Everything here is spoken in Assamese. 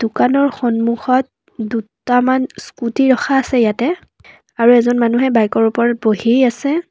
দোকানৰ সন্মুখত দুটামান স্কুটী ৰখা আছে ইয়াতে আৰু এজন মানুহে বাইকৰ ওপৰত বহি আছে।